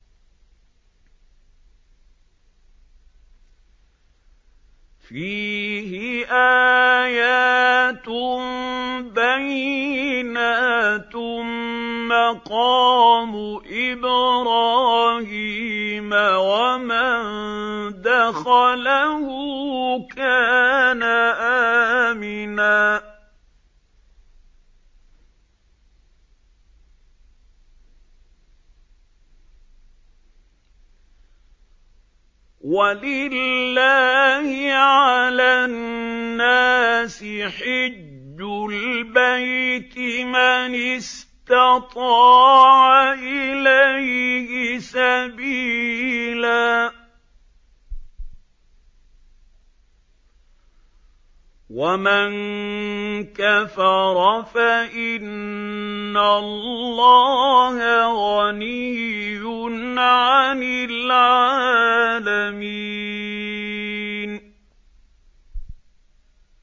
فِيهِ آيَاتٌ بَيِّنَاتٌ مَّقَامُ إِبْرَاهِيمَ ۖ وَمَن دَخَلَهُ كَانَ آمِنًا ۗ وَلِلَّهِ عَلَى النَّاسِ حِجُّ الْبَيْتِ مَنِ اسْتَطَاعَ إِلَيْهِ سَبِيلًا ۚ وَمَن كَفَرَ فَإِنَّ اللَّهَ غَنِيٌّ عَنِ الْعَالَمِينَ